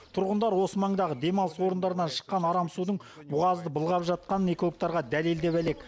тұрғындар осы маңдағы демалыс орындарынан шыққан арам судың бұғазды былғап жатқанын экологтарға дәлелдеп әлек